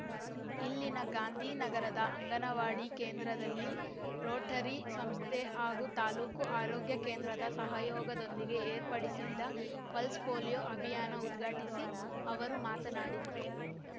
ಇಲ್ಲಿನ ಗಾಂಧಿನಗರದ ಅಂಗನವಾಡಿ ಕೇಂದ್ರದಲ್ಲಿ ರೋಟರಿ ಸಂಸ್ಥೆ ಹಾಗೂ ತಾಲ್ಲೂಕು ಆರೋಗ್ಯ ಕೇಂದ್ರದ ಸಹಯೋಗದೊಂದಿಗೆ ಏರ್ಪಡಿಸಿದ್ದ ಪಲ್ಸ್ ಪೋಲಿಯೋ ಅಭಿಯಾನ ಉದ್ಘಾಟಿಸಿ ಅವರು ಮಾತನಾಡಿದರು